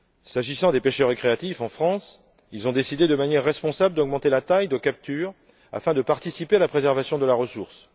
S'agissant des pêcheurs récréatifs, en France, ils ont décidé de manière responsable d'augmenter la taille de capture afin de participer à la préservation de la ressource.